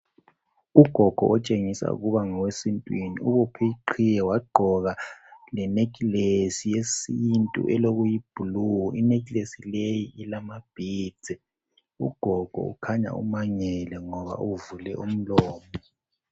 Ugogo otshengisa ukuba ngowesintwini ubophe iqhiye wagqoka lenekilesi yesintu elokuyi"blue" inekilesi leyi ilama "beads", ugogo ukhanya umangele ngoba uvule umlomo.